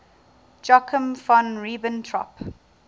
joachim von ribbentrop